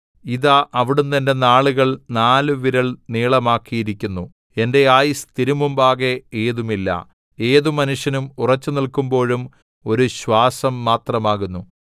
ഇതാ അവിടുന്ന് എന്റെ നാളുകൾ നാലുവിരൽ നീളമാക്കിയിരിക്കുന്നു എന്റെ ആയുസ്സ് തിരുമുമ്പാകെ ഏതുമില്ല ഏതു മനുഷ്യനും ഉറച്ച് നിൽക്കുമ്പോഴും ഒരു ശ്വാസം മാത്രമാകുന്നു സേലാ